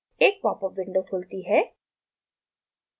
एक popup window खुलती है